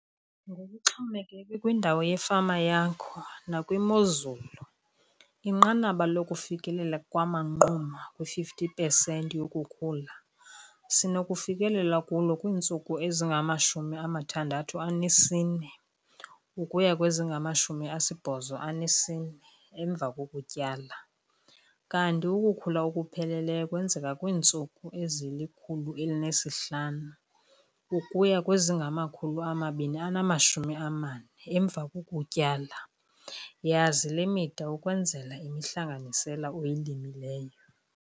Ngokuxhomekeke kwindawo yefama yakho nakwimozulu inqanaba lokufikelela kwamanquma kwi-50 pesenti yokukhula sinokufikelela kulo kwiintsuku ezingama-64 ukuya kwezingama-84 emva kokutyala kanti ukukhula okupheleleyo kwenzeka kwiintsuku ezili-105 ukuya kwezingama-240 emva kokutyala. Yazi le mida ukwenzela imihlanganisela oyilimileyo.